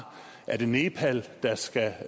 er det nepal der skal